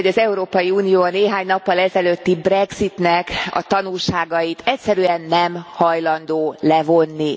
Úgy tűnik, hogy az Európai Unió a néhány nappal ezelőtti Brexitnek a tanulságait egyszerűen nem hajlandó levonni.